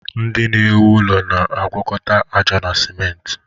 Ndị na-ewu ụlọ na-agwakọta aja na simentị.